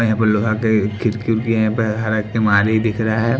अ यहाँ पे लोहा के खिड़की उड़की है यहाँ प हरा किमाड़ी दिख रहा हैं।